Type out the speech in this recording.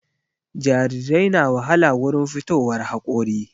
Jarirai na wahala wurin fitowar haƙori